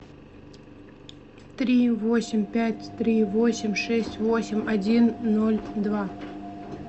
три восемь пять три восемь шесть восемь один ноль два